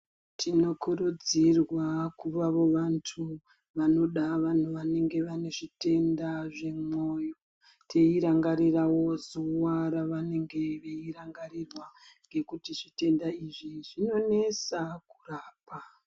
Tinokurudzirwa kudawo vantu vanenge vane zvitenda zvemwoyo teirangarirawo zuwa ravanenge veirangarirwa ngekuti zvitenda izvi zvinonesa kurapa.